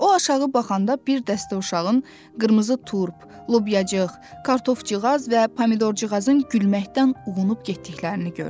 O aşağı baxanda bir dəstə uşağın qırmızı turp, lobyacığ, kartofcığaz və pomidorcığazın gülməkdən uğunub getdiklərini gördü.